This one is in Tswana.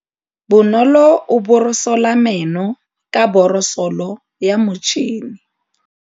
Bonolô o borosola meno ka borosolo ya motšhine.